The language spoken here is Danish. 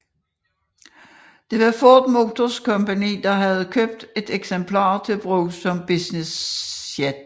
Det var Ford Motor Company der havde købt et eksemplar til brug som businessjet